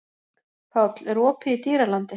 Páll, er opið í Dýralandi?